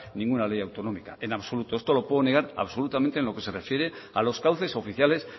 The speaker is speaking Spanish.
ninguna ley autonómica en absoluto esto lo puedo negar absolutamente en lo que se refiere a los cauces oficiales